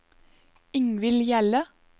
Ingvill Hjelle